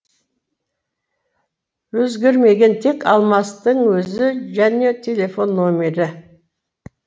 өзгермеген тек алмастың өзі және телефон нөмірі